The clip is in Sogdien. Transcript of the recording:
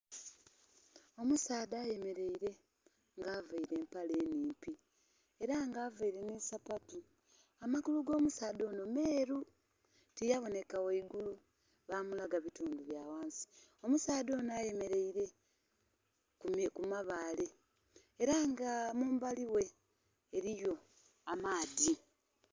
Omusaadha ayemeleire nga availe empale nhimpi. Era nga availe nh'esapatu. Amagulu g'omusaadha ono meeru. Tiyaboneka waigulu bamulaga bitundu bya wansi. Omusaadha onho ayemeleire ku mabaale. Era nga mumbali we eliyo amaadhi.